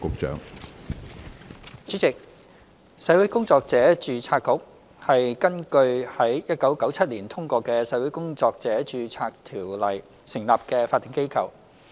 主席，社會工作者註冊局是根據於1997年通過的《社會工作者註冊條例》成立的法定機構。